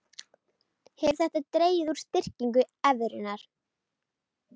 Hefur þetta dregið úr styrkingu evrunnar